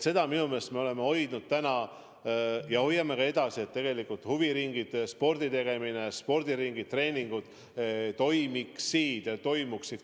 Seda me oleme hoidnud seni ja hoiame edasi, et tegelikult huviringid, sporditegemine, spordiringid, treeningud toimuksid kindlasti edasi.